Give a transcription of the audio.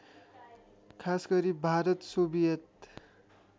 खासगरी भारत सोभियत